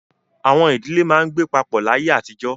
Àwọn ìdílé máa ń gbé papọ̀ láyé àtijọ́.